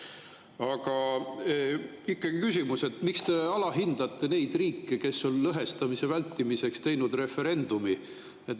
Aga ikkagi küsimus: miks te alahindate neid riike, kes on lõhestamise vältimiseks teinud referendumi?